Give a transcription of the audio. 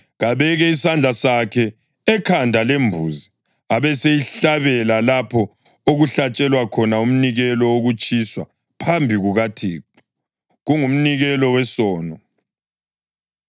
Kabeke isandla sakhe ekhanda lembuzi abeseyihlabela lapho okuhlatshelwa khona umnikelo wokutshiswa phambi kukaThixo. Kungumnikelo wesono.